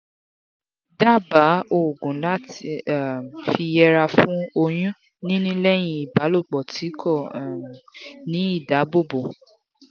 daba oogun lati um fi yera fun oyun nini leyin ibalopo ti ko um ni idabobo